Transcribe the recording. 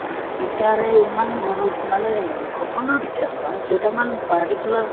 teacher য়ে ইমান গুৰুত মানে সকলো teacher নহয় কেইটামান particular